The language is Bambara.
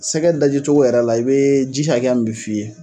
Sɛgɛ dajicogo yɛrɛ la i bee ji hakɛya min bi f'i ye